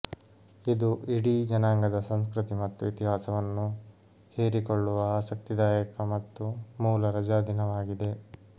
ಇದು ಇಡೀ ಜನಾಂಗದ ಸಂಸ್ಕೃತಿ ಮತ್ತು ಇತಿಹಾಸವನ್ನು ಹೀರಿಕೊಳ್ಳುವ ಆಸಕ್ತಿದಾಯಕ ಮತ್ತು ಮೂಲ ರಜಾದಿನವಾಗಿದೆ